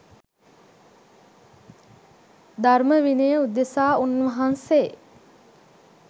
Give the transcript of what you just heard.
ධර්ම විනය උදෙසා උන්වහන්සේ